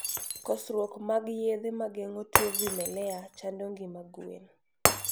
kosruok mag yedhe magengo tuo vimelea chando ngima gwen